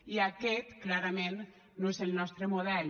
i aquest clarament no és el nostre model